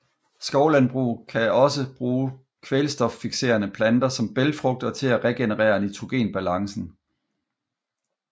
Skovlandbrug kan også bruge kvælstoffikserende planter som bælgfrugter til at regenerere nitrogenbalancen